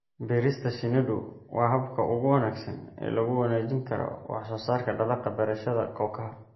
Beerista shinnidu waa habka ugu wanaagsan ee lagu wanaajin karo wax soo saarka dalagga beerashada kookaha.